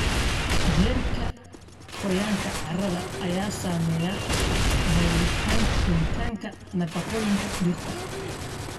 Heerka qoyaanka carrada ayaa saameeya helitaanka nafaqooyinka dhirta.